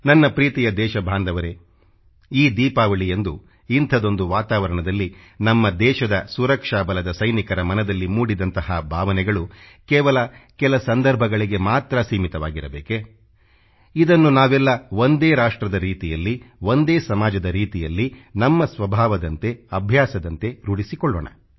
ನನ್ನ ಪ್ರೀತಿಯ ದೇಶಬಾಂಧವರೇ ಈ ದೀಪಾವಳಿಯಂದು ಇಂಥದೊಂದು ವಾತಾವರಣದಲ್ಲಿ ನಮ್ಮ ದೇಶದ ಸುರಕ್ಷಾ ಬಲದ ಸೈನಿಕರ ಮನದಲ್ಲಿ ಮೂಡಿದಂಥ ಭಾವನೆಗಳು ಕೇವಲ ಕೆಲ ಸಂದರ್ಭಗಳಿಗೆ ಮಾತ್ರ ಸೀಮಿತವಾಗಿರಬೇಕೇ ಇದನ್ನು ನಾವೆಲ್ಲ ಒಂದೇ ರಾಷ್ಟ್ರದ ರೀತಿಯಲ್ಲಿ ಒಂದೇ ಸಮಾಜದ ರೀತಿಯಲ್ಲಿ ನಮ್ಮ ಸ್ವಭಾವದಂತೆ ಅಭ್ಯಾಸದಂತೆ ರೂಢಿಸಿಕೊಳ್ಳೋಣ